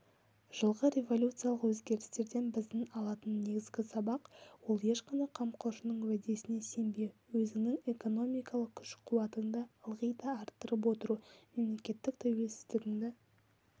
жылғы революциялық өзгерістерден біздің алатын негізгі сабақ ол ешқандай қамқоршының уәдесіне сенбеу өзіңнің экономикалық күш-қуатыңды ылғи да арттырып отыру мемлекеттік тәуелсіздігіңді